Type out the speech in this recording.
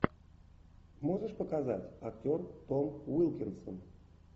можешь показать актер том уилкинсон